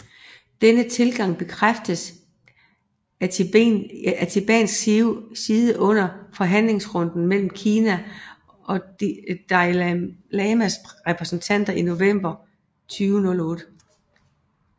Denne tilgang bekræftedes fra tibetansk side under forhandlingsrunden mellem Kina og Dalai Lamas repræsentanter i november 2008